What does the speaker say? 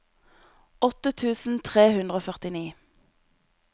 åtte tusen tre hundre og førtini